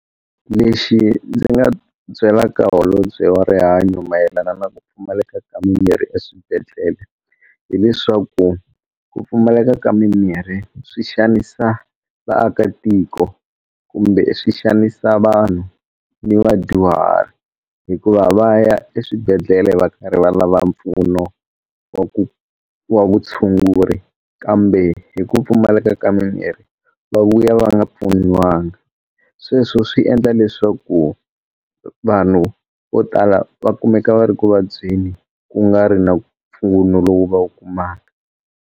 Lexi ndzi nga ta byelaka holobye wa rihanyo mayelana na ku pfumaleka ka mimirhi eswibedhlele hileswaku ku pfumaleka ka mimirhi swi xanisa vaakatiko kumbe swi xanisa vanhu ni vadyuhari hikuva va ya eswibedhlele va karhi va lava mpfuno wa ku wa vutshunguri kambe hi ku pfumaleka ka mimirhi va vuya va nga pfuniwanga sweswo swi endla leswaku vanhu vo tala va kumeka va ri ku vabyeni ku nga ri na mpfuno lowu va wu kumaka.